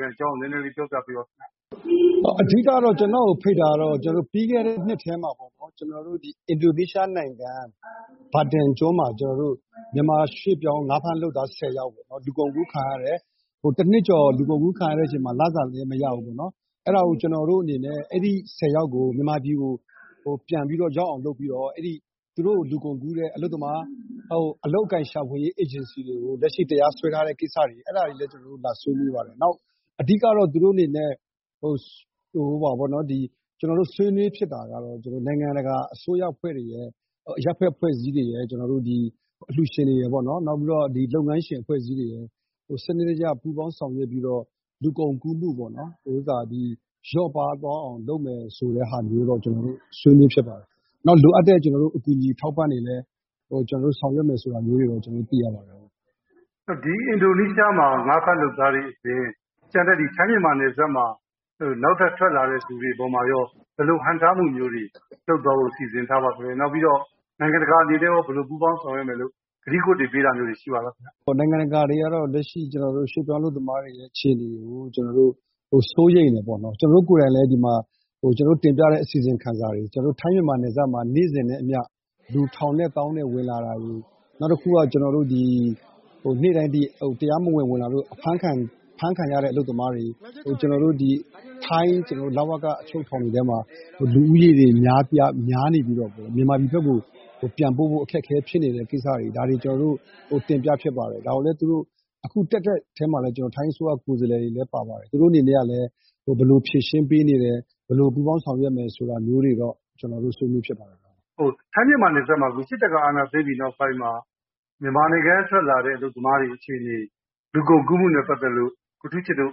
ခံအကြောင်း နည်းနည်းလေး ပြောပြပေးပါခင်ဗျ။ အဓိက-ကတော့ ကျနော့်ကိုဖိတ်တာကတော့ ပြီးခဲ့တဲ့နှစ်ထဲမှာ ကျနော်တို့ အင်ဒိုနီးရှားနိုင်ငံ မာတင်ကျွန်းမှာ ကျနော်တို့ မြန်မာရွှေ့ပြောင်း ငါးဖမ်းလုပ်သားဆယ်ယောက် လူကုန်ကူးခံရတယ်။ တနှစ်ကျော်လူကုန်ကူးခံရတဲ့အချိန်မှာ လစာလည်းမရဘူး၊ အဲဒီဆယ်ယောက်ကို မြန်မာပြည်ကို ပြန်ရောက်အောင်လုပ်ပြီးတော့ သူတို့ကိုလူကုန်ကူးတဲ့ အလုပ်အကိုင်ရှာဖွေရေးအေဂျင်စီတွေကို လက်ရှိ တရားစွဲထားတဲ့ကိစ္စတွေ...အဲဒါတွေလည်း ကျနော်တို့လာဆွေးနွေးပါတယ်။ အဓိက-ကတော့ ဆွေးနွေးဖြစ်တာကတော့ နိုင်ငံတကာအစိုးရအဖွဲ့တွေရယ်၊ အရပ်ဖက်အဖွဲ့အစည်းတွေရယ်၊ အလှူရှင်တွေရယ်၊ လုပ်ငန်းရှင်အဖွဲ့အစည်းတွေရယ် စနစ်တကျ ပူးပေါင်းဆောင်ရွက်ပြီးတော့ လူကုန်ကူးမှုပေါ့-လျော့ပါးသွားအောင်လုပ်မယ်ဆိုတဲ့ဟာမျိုးတော့ ဆွေးနွေးဖြစ်ပါတယ်။ နောက် လိုအပ်တဲ့အကူအညီ အထောက်အပံ့တွေလည်း ဆောင်ရွက်မယ်ဆိုတာမျိုးတွေလည်း ကျနော်တို့သိရပါတယ်။ အင်ဒိုနီးရှားမှာ ငါးဖမ်းလုပ်သားတွေအပြင် ထိုင်းမြန်မာနယ်စပ်မှာ နောက်ထပ်ထွက်လာတဲ့လူတွေအပေါ်မှာရော ဘယ်လိုခံစားမှုမျိုးတွေ လုပ်သွားဖို့ စီစဉ်ထားပါသလဲ။ နိုင်ငံတကာအနေနဲ့ရော ဘယ်လို ပူးပေါင်းဆောင်ရွက်မယ်လို့ ကတိကဝတ်ပေးတာမျိုးတွေ ရှိပါသလား။ နိုင်ငံတကာကတော့ လက်ရှိ ရွှေ့ပြောင်းအလုပ်သမားတွေရဲ့အခြေအနေကို စိုးရိမ်တယ်ပေါ့နော်။ ကျနော်တို့ကိုယ်တိုင်လည်း ဒီမှာ ကျနော်တို့တင်ပြတဲ့အစီရင်ခံစာတွေကို ထိုင်းမြန်မာနယ်စပ်မှာ နေ့စဉ်နဲ့အမျှ လူ ထောင်နဲ့သောင်းနဲ့ဝင်လာတာတွေကို...နောက်တခုက နေ့တိုင်း တရားမဝင် ဝင်လာလို့ အဖမ်းခံရတဲ့အလုပ်သမားတွေ၊ နောက် ထိုင်း လဝက အချုပ်ထောင်တွေထဲမှာ လူဦးရေတွေများနေပြီးတော့ မြန်မာပြည်ဘက်ကို ပြန်ပို့ဖို့ အခက်အခဲဖြစ်နေတဲ့ကိစ္စတွေ၊ ဒါတွေကို ကျနော်တို့ တင်ပြဖြစ်ပါတယ်။ အခု တက်တဲ့အထဲမှာလည်း ထိုင်းအစိုးရ ကိုယ်စားလှယ်တွေလည်း ပါပါတယ်။ သူတို့အနေနဲ့ကလည်း ဘယ်လိုဖြေရှင်းပေးနေတယ်၊ ဘယ်လို ပူးပေါင်းဆောင်ရွက်မယ်ဆိုတာမျိုးတွေတော့ ဆွေးနွေးဖြစ်ပါတယ်။ စစ်တပ်ကအာဏာသိမ်းပြီးနောက်ပိုင်း ထိုင်းမြန်မာနယ်စပ်မှာ မြန်မာနိုင်ငံကထွက်လာတဲ့အလုပ်သမားတွေအခြေအနေ လူကုန်ကူးမှုနဲ့ပတ်သက်လို့ ကိုထူးချစ်တို့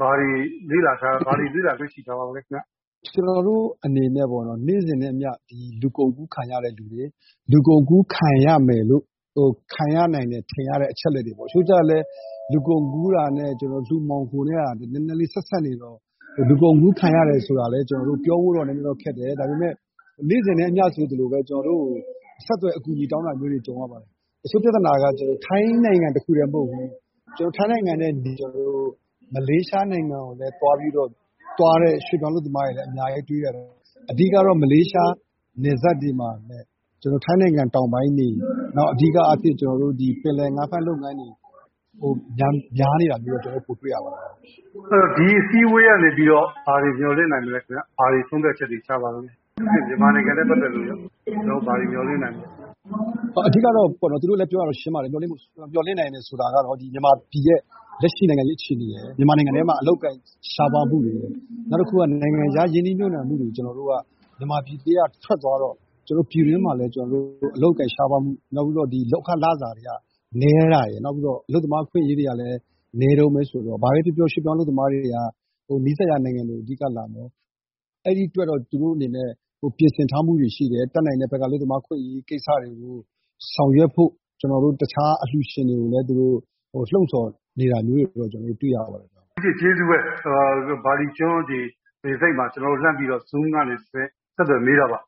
ဘာတွေလေ့လာတွေ့ရှိထားပါသလဲခင်ဗျ။ ကျနော်တို့အနေနဲ့ နေ့စဉ်နဲ့အမျှ လူကုန်ကူးခံရတဲ့သူတွေ၊ လူကုန်ကူးခံရမယ်လို့- ခံရနိုင်တယ်လို့ ထင်ရတဲ့အချက်အလက်တွေပေါ့၊ တချို့ကျတော့လည်း လူကုန်ကူးတာနဲ့လူမှောင်ခိုနဲ့က နည်းနည်းလေး ဆက်စပ်နေတော့ လူကုန်ကူးခံရတယ်ဆိုတာလည်း ပြောဖို့တော့ နည်းနည်းလေးပြောဖို့တော့ခက်တယ်။ ဒါပေမယ့်လည်း နေ့စဉ်နဲ့အမျှဆိုသလို ကျနော်တို့ကို ဆက်သွယ်အကူအညီတောင်းတာမျိုးတွေ ကြုံရပါတယ်။ တချို့ပြဿနာက ထိုင်းနိုင်ငံတခုတည်းမဟုတ်ဘူး။ ထိုင်းနိုင်ငံကနေ မလေးရှားနိုင်ငံကိုလည်း သွားတဲ့ရွှေ့ပြောင်းအလုပ်သမားတွေလည်း အများကြီးတွေ့ရတယ်။ အဓိက-ကတော့ မလေးရှားနယ်စပ်တွေမှာ ထိုင်းနိုင်ငံတောင်ပိုင်းတွေ၊ နောက် အဓိကအားဖြင့် ပင်လယ်ငါးဖမ်းလုပ်ငန်းတွေမှာ ပိုများနေတာ ကျနော်တို့တွေ့ရပါတယ်။ ဒီအစည်းအဝေးကနေပြီးတော့ ဘာတွေ မျှော်လင့်နိုင်မလဲခင်ဗျ။ မြန်မာနိုင်ငံနဲ့ပတ်သက်လို့ရော ဘာတွေ ဆုံးဖြတ်ချက်တွေ ချပါသလဲ။ မြန်မာနိုင်ငံနဲ့ပတ်သက်လို့ ဘာတွေ မျှော်လင့်နိုင်သလဲ။ အဓိက-ကတော့ သူတို့လည်းပြောတာ ရှင်းပါတယ်။ မျှော်လင့်နိုင်တယ်ဆိုတာကတော့ မြန်မာပြည်ရဲ့ လက်ရှိနိုင်ငံရေးအခြေအနေရယ်၊ မြန်မာနိုင်ငံထဲမှာ အလုပ်အကိုင်ရှားပါးမှုတွေရယ်၊ နောက်တခုက နိုင်ငံခြားရင်းနှီးမြှုပ်နှံမှုတွေ မြန်မာပြည်ထဲကထွက်သွားတော့ ပြည်တွင်းမှာလည်း အလုပ်အကိုင်ရှားပါးမှု၊ နောက် လုပ်ခလစာနည်းတာရယ်။ နောက် အလုပ်သမားအခွင့်အရေးတွေကလည်း နည်းတုန်းပဲဆိုတော့ ဘာပဲပြောပြော ရွှေ့ပြောင်းအလုပ်သမားတွေက နီးစပ်ရာနိုင်ငံတွေကို အဓိကလာပြီးတော့...အဲဒီအတွက်တော့ သူတို့အနေနဲ့ ပြင်ဆင်ထားမှုတွေရှိတယ်။ တတ်နိုင်တဲ့ဘက်က အလုပ်သမားအခွင့်အရေးကိစ္စတွေကို ဆောင်ရွက်ဖို့ တခြားအလှူရှင်တွေကိုလည်း လှုံ့ဆော်နေတာမျိုးတွေကိုလည်း ကျနော်တို့တွေ့ရပါတယ်။ ဦးထူးချစ်- ကျေးဇူးပဲ။ ဘာလီကျွန်းလေဆိပ်မှာ Zoom ကနေ ဆက်သွယ်မေးတာပါ